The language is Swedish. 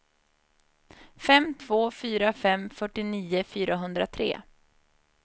fem två fyra fem fyrtionio fyrahundratre